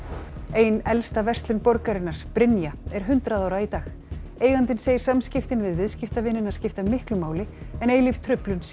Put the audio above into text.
ein elsta verslun borgarinnar Brynja er hundrað ára í dag eigandinn segir samskiptin við viðskiptavinina skipta miklu máli en eilíf truflun sé